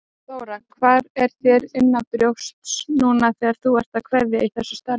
Þóra: Hvað er þér innanbrjósts núna þegar þú ert að kveðja í þessu starfi?